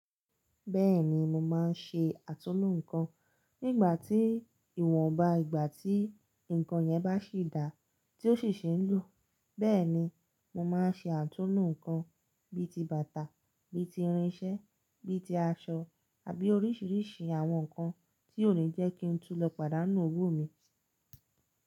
Bẹ́ẹ̀ni mo máa ń ṣe àtúnlo nǹkan nígbà tí ìwọ̀n bá ìgbà tí nǹkan yẹn bá sì dá tí ó sì ṣe ń lò. Bẹ́ẹ̀ni mo máa ń ṣe àtúnlo nǹkan bíi ti bàtà, bíi ti irinse, bíi ti aṣọ àbí oríṣiríṣi àwọn nǹkan tí ó le jẹ́ kí n tún lọ pàdánù òwò mi.